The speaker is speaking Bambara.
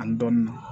Ani dɔɔni